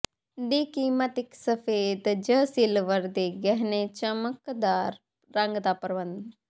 ਦੀ ਕੀਮਤ ਇਕ ਸਫੈਦ ਜ ਸਿਲਵਰ ਦੇ ਗਹਿਣੇ ਚਮਕਦਾਰ ਰੰਗ ਦਾ ਪ੍ਰਬੰਧ